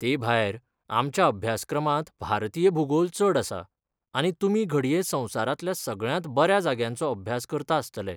तेभायर, आमच्या अभ्यासक्रमांत भारतीय भूगोल चड आसा, आनी तुमी घडये संवसारांतल्या सगळ्यांत बऱ्या जाग्यांचो अभ्यास करता आसतले!